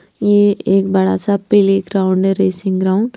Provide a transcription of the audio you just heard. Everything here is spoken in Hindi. यह एक बड़ा सा प्लेग्राउंड है रेसिंग ग्राउंड। --